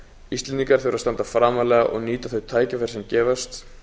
íslendingar þurfa að standa framarlega og nýta þau tækifæri sem gefast